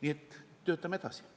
Nii et töötame edasi.